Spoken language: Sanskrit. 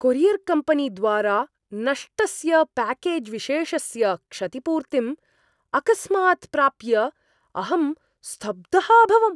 कोरियर्कम्पेनीद्वारा नष्टस्य प्याकेज्विशेषस्य क्षतिपूर्तिम् अकस्मात् प्राप्य अहं स्तब्धः अभवम्।